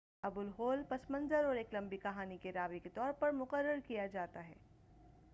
ابوالہول پس منظر اور ایک لمبی کہانی کے راوی کے طور پر مقرر کیا جاتا ہے